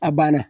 A banna